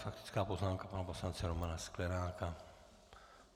Faktická poznámka pana poslance Romana Sklenáka.